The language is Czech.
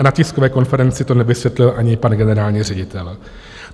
A na tiskové konferenci se nevyskytl ani pan generální ředitel.